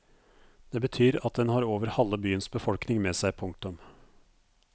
Det betyr at den har over halve byens befolkning med seg. punktum